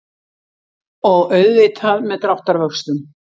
Og auðvitað með dráttarvöxtum.